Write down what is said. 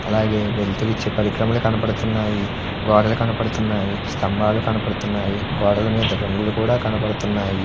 వెలుతురు ఇచ్చే పరికరమములు కనబడుతున్నాయి స్తంభాలు కనబడుతున్నాయి గోడల మీద రంగులు కూడా కనబడుతున్నాయి.